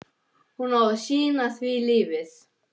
Hún á að sýna því lífið.